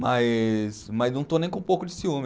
Mas, mas não estou nem com um pouco de ciúme.